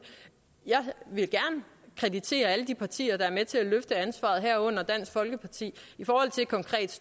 jeg vil gerne kreditere alle de partier der er med til at løfte ansvaret herunder dansk folkeparti i forhold til konkret